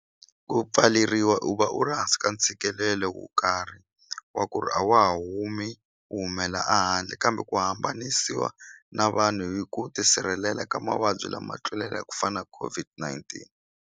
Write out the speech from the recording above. Ku pfaleriwa u va u ri hansi ka ntshikelelo wo karhi wa ku ri a wa ha humi u humela a handle kambe ku hambanisiwa na vanhu hi ku tisirhelela ka mavabyi lama tlulele ku fana COVID-19.